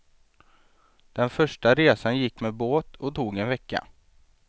Den första resan gick med båt och tog en vecka.